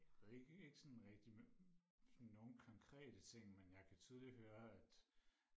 jeg ved ikke ikke sådan rigtigt men sådan nogle konkrete ting men jeg kan tydeligt høre at